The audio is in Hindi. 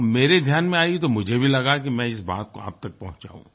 और मेरे ध्यान में आई तो मुझे भी लगा कि मैं इस बात को आप तक पहुचाऊँ